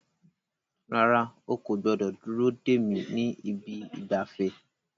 Rárá, o kò gbọdọ̀ dúró dè mí ní ibi ìgbafẹ́.